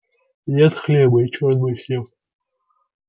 нет хлеба и черт бы с ним